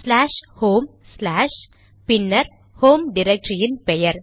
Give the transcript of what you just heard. slash home slash பின்னர் home டிரக்டரியின் பெயர்